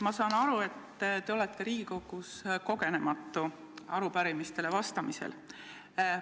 Ma saan aru, et te olete Riigikogus arupärimistele vastamisel kogenematu.